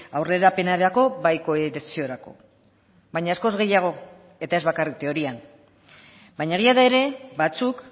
aurrerapenerako bai kohesiorako baina askoz gehiago eta ez bakarrik teorian baina egia da ere batzuk